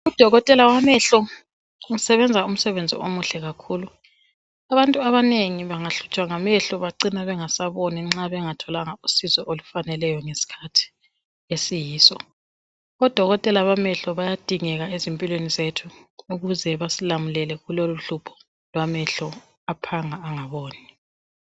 Udokotela wamehlo usebenza umsebenzi omuhle kakhulu. Abantu abanengi bangahlutshwa ngamehlo bacina bengasaboni nxa bengatholanga usizo olufaneleyo ngesikhathi esiyiso. Odokotela bamehlo bayadingeka ezimpilweni zethu ukuze basilamulele kulolu hlupho lwamehlo aphanga engaboni.